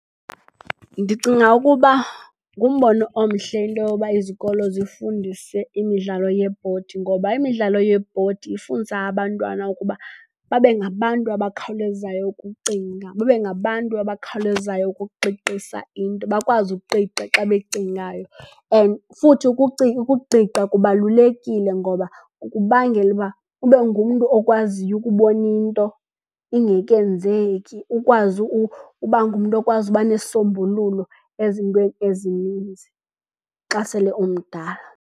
Ndicinga ukuba ngumbono omhle into yoba izikolo zifundise imidlalo yeebhodi ngoba imidlalo yeebhodi ifundisa abantwana ukuba babe ngabantu abakhawulezayo ukucinga, babe ngabantu abakhawulezayo ukuqiqisa into, bakwazi ukuqiqa xa becingayo. And futhi ukuqiqa kubalulekile ngoba kukubangela ukuba ube ngumntu okwaziyo ukubona into ingekenzeki, ukwazi uba ngumntu okwazi ukuba nesisombululo ezintweni ezininzi xa sele umdala.